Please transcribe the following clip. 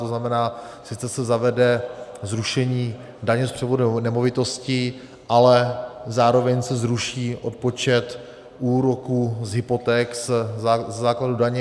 To znamená, sice se zavede zrušení daně z převodu nemovitosti, ale zároveň se zvýší odpočet úroků z hypoték ze základu daně.